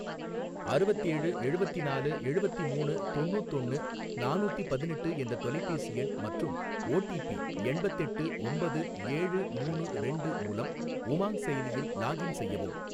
அறுவத்தேழு எழுவத்திநாலு எழுவத்திமூணு தொண்ணூத்தொன்னு நானூத்தி பதினெட்டு என்ற தொலைபேசி எண் மற்றும் ஓ டி பி எண்பத்தெட்டு ஒம்பது ஏழு மூணு ரெண்டு மூலம் உமாங் செயலியில் லாக்இன் செய்யவும்.